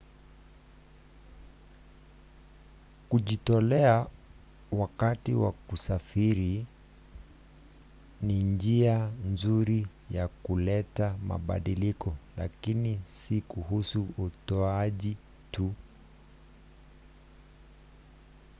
kujitolea wakati wa kusafiri ni njia nzuri ya kuleta mabadiliko lakini si kuhusu utoaji tu